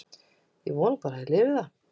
Ég vona bara að ég lifi það.